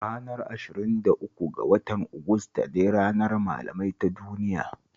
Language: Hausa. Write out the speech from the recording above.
Ranar ashirin da uku ga wata Agusta ne Ranar Malamai ta Duniya